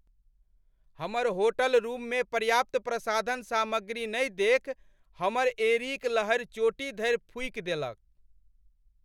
हमर होटलरूममे पर्याप्त प्रसाधन सामग्री नहि देखि हमर एंड़ीक लहरि चोटी धरि फूकि देलक।